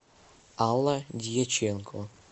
алла дьяченко